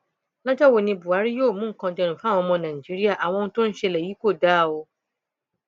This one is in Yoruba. lọjọ wo ni buhari yóò mú nǹkan dẹrùn fáwọn ọmọ nàìjíríà àwọn ohun tó ń ṣẹlẹ yìí kò dáa o